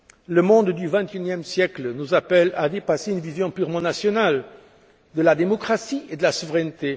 Le monde du 21e siècle nous appelle à dépasser une vision purement nationale de la démocratie et de la souveraineté.